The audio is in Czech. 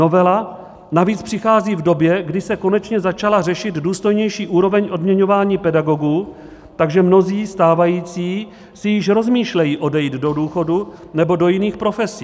Novela navíc přichází v době, kdy se konečně začala řešit důstojnější úroveň odměňování pedagogů, takže mnozí stávající si již rozmýšlejí odejít do důchodu nebo do jiných profesí.